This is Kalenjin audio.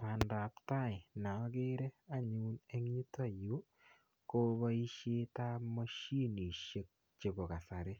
pandaptai neagere anyun eng yutayu kopaishet ap mashinishek chepokasari.